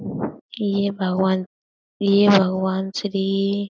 ये भगवान ये भगवान श्री--